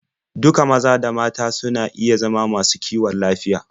Duka maza da mata suna iya zama masu kiwon lafiya.